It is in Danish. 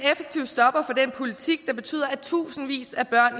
politik der betyder at tusindvis af børn